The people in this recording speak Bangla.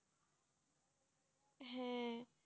হ্যাঁ,